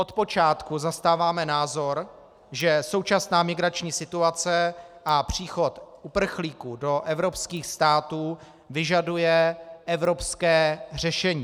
Od počátku zastáváme názor, že současná migrační situace a příchod uprchlíků do evropských států vyžaduje evropské řešení.